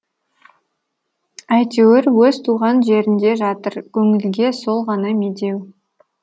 әйтеуір өз туған жерінде жатыр көңілге сол ғана медеу